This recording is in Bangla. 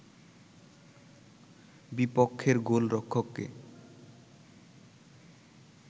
বিপক্ষের গোলরক্ষককে